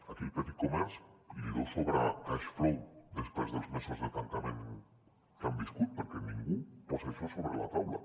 aquí al petit comerç li deu sobrar cash flow després dels mesos de tancament que han viscut perquè ningú posa això sobre la taula